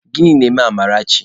Gịnị na-eme Amarachi?